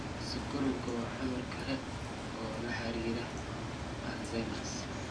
Sonkorowga waa cudur kale oo lala xiriiriyay Alzheimers.